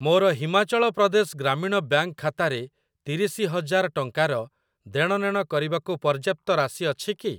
ମୋର ହିମାଚଳ ପ୍ରଦେଶ ଗ୍ରାମୀଣ ବ୍ୟାଙ୍କ୍‌ ଖାତାରେ ତିରିଶି ହଜାର ଟଙ୍କାର ଦେଣନେଣ କରିବାକୁ ପର୍ଯ୍ୟାପ୍ତ ରାଶି ଅଛି କି?